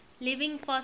living fossils